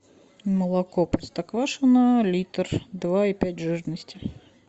молоко простоквашино литр два и пять жирности